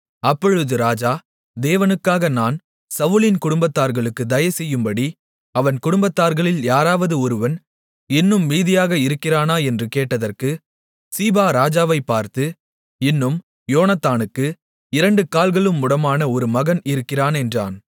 அப்பொழுது ராஜா தேவனுக்காக நான் சவுலின் குடும்பத்தார்களுக்குத் தயைசெய்யும்படி அவன் குடும்பத்தார்களில் யாராவது ஒருவன் இன்னும் மீதியாக இருக்கிறானா என்று கேட்டதற்கு சீபா ராஜாவைப் பார்த்து இன்னும் யோனத்தானுக்கு இரண்டு கால்களும் முடமான ஒரு மகன் இருக்கிறான் என்றான்